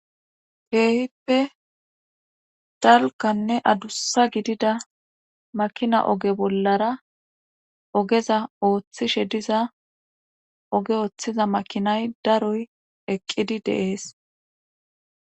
heehippe dalkanne adussa gidida makina oge bollara ogeza ooththishe diza oge ooththiza makinay daroy eqqidi deees